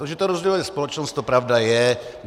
To, že to rozděluje společnost, to pravda je.